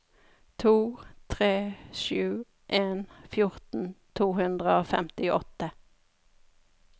to tre sju en fjorten to hundre og femtiåtte